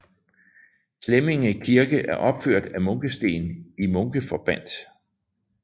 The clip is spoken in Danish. Slemminge Kirke er opført af munkesten i munkeforbandt